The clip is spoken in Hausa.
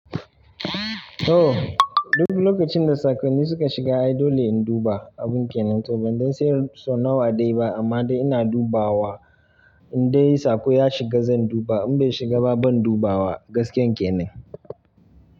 To, duk lokacin da saƙonni suka shiga ai dole in duba abun kenen to ban dai san so nawa dai ba amma dai ina dubawa in dai saƙo ya shiga zan duba in bai shiga ba ban dubawa gaskiyar kenan.